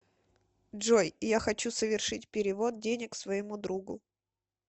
джой я хочу совершить перевод денег своему другу